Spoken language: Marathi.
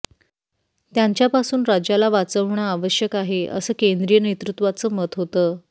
त्यांच्यापासून राज्याला वाचवणं आवश्यक आहे असं केंद्रीय नेतृत्वाचं मत होतं